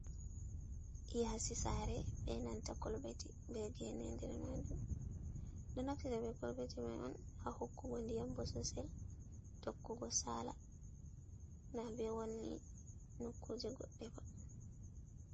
Yaasi saare be nanta kolbeti, be gene ha nder maajum. Ɓe ɗo naftira be kolbeti mai un ha hokkugo diyam bososel tokkugo saala, na be wanni nokkuje goɗɗe ba.